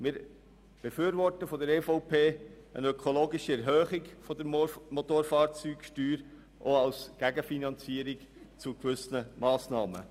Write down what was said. Die EVP-Fraktion befürwortet eine ökologische Erhöhung der Motorfahrzeugsteuer auch als Gegenfinanzierung gewisser Massnahmen.